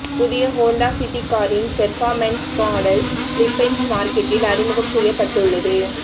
புதிய Honda City காரின் performance model Philippines மார்க்கெட்டில் அறிமுகம் செய்யப்பட்டுள்ளது